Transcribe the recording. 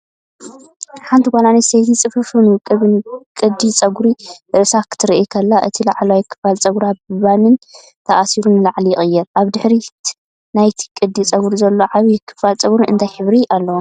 ሓንቲ ጓል ኣንስተይቲ ጽፉፍን ውቁብን ቅዲ ጸጉሪ ርእሳ ክትረአ ከላ፡ እቲ ላዕለዋይ ክፋል ጸጉራ ብባን ተኣሲሩ ንላዕሊ ይቕየር። ኣብ ድሕሪት ናይቲ ቅዲ ጸጉሪ ዘሎ ዓቢ ክፋል ጸጉሪ እንታይ ሕብሪ ኣለዎ?